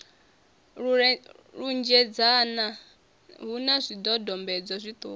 lunzhedzana hu na zwidodombedzwa zwiṱuku